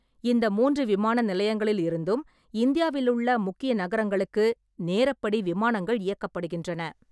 இந்த மூன்று விமான நிலையங்களிலிருந்தும் இந்தியாவிலுள்ள முக்கிய நகரங்களுக்கு நேரப்படி விமானங்கள் இயக்கப்படுகின்றன.